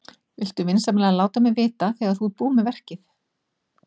Viltu vinsamlega láta mig vita þegar þú ert búin með verkið?